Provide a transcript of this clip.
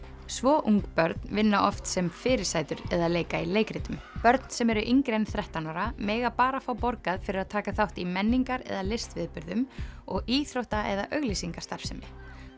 svo ung börn vinna oft sem fyrirsætur eða leika í leikritum börn sem eru yngri en þrettán ára mega bara fá borgað fyrir að taka þátt í menningar eða listviðburðum og íþrótta eða auglýsingastarfsemi